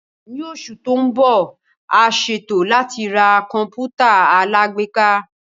Ní oṣù tó ń bọ̀, a ṣètò láti ra Kọ̀m̀pútà alágbèéká